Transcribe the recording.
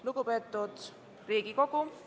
Lugupeetud Riigikogu!